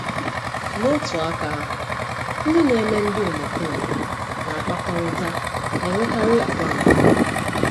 N'otu aka ahụ, ndị na-eme ndị omekome na-akpakọrịta na-enwekarị àgwà mpụ.